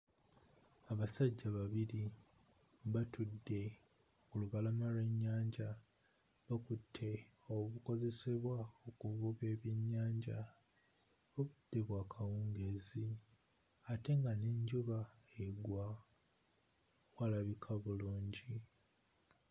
Abasajja babiri batudde ku lubalama lw'ennyanja bakutte obukozesebwa mu kuvuba ebyennyanja, obudde bwa kawungeezi ate nga n'enjuba egwa, walabika bulungi.